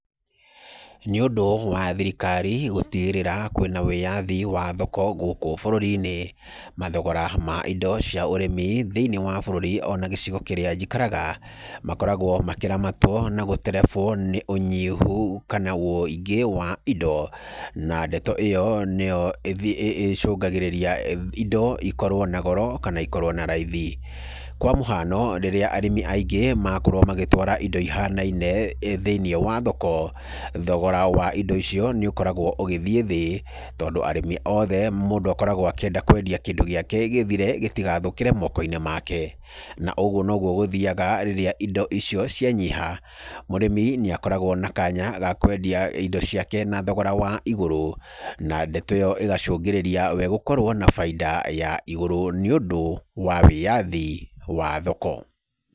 Nĩũndũ wa thirikari gũtigĩrĩra kwĩna wĩyathi wa thoko gũkũ bũrũrini, mathogora ma indo cia ũrĩmi thĩinĩ wa bũrũri ona gĩcigo kĩrĩa njikaraga makoragwo makĩramatwo na gũterebwo nĩ ũnyihu kana ũingĩ wa indo, na ndeto ĩyo nĩyo ĩcũngagĩrĩria indo ikorwo na goro kana ikorwo na raithi. Kwa mũhano rĩrĩa arĩmi aingĩ makorwo magĩtwara indo ihanaine thĩinĩ wa thoko, thogora wa indo icio nĩũkoragwo ũgĩthiĩ thĩ tondũ arĩmi othe mũndũ akoragwo akĩenda kwendia kĩndũ gĩake gĩthire gĩtigathũkĩre mokoinĩ make. Na ũguo nĩguo gũthiyaga rĩrĩa indo icio cianyiha mũrĩmi nĩakoragwo na kanya ga kwendia indo ciake na thogora wa igũrũ na ndeto ĩyo ĩgacũngĩrĩria we gũkorwo na baida igũrũ nĩũndũ wa wĩyathi wa thoko.